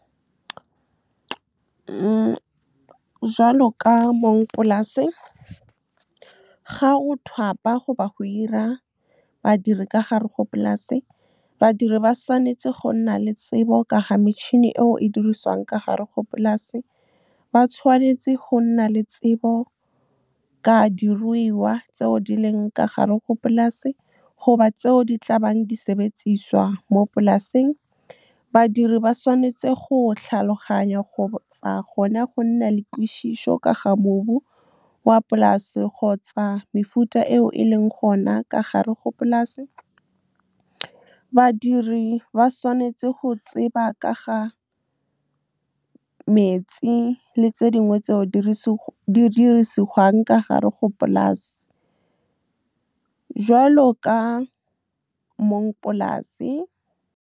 Jalo ka mong polase, ga o thapa goba go hira badiri ka gare go polase, badiri ba tshwanetse go nna le tsebo ka ga metšhini eo e diriswang ka gare go polase. Ba tshwanetse go nna le tsebo ka diruiwa tseo di leng ka gare go polase goba tseo di tla bang di sebediswa mo polaseng. Badiri ba tshwanetse go tlhaloganya kgotsa gona go nna le kutlwišišo ka ga mobu wa polase kgotsa mefuta eo e leng gona ka gare go polase. Badiri ba tshwanetse go tseba ka ga metsi le tse dingwe tseo di dirisiwa ka gare go polase jwalo ka mong polase. Jalo ka mong polase, ga o thapa goba go hira badiri ka gare go polase, badiri ba tshwanetse go nna le tsebo ka ga metšhini eo e diriswang ka gare go polase. Ba tshwanetse go nna le tsebo ka diruiwa tseo di leng ka gare go polase goba tseo di tla bang di sebediswa mo polaseng. Badiri ba tshwanetse go tlhaloganya kgotsa gona go nna le kutlwišišo ka ga mobu wa polase kgotsa mefuta eo e leng gona ka gare go polase. Badiri ba tshwanetse go tseba ka ga metsi le tse dingwe tseo di dirisiwa ka gare go polase jwalo ka mong polase.